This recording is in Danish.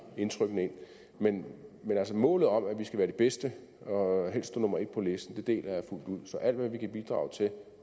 indtrykkene ind men altså målet om at vi skal være de bedste og helst stå nummer en på listen deler jeg fuldt ud så alt hvad vi kan bidrage til